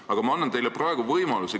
Aga ma annan teile praegu võimaluse.